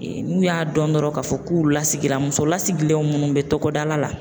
N'u y'a dɔn dɔrɔn k'a fɔ k'u lasigila muso lasigilen minnu bɛ tɔgɔda la